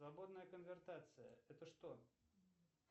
свободная конвертация это что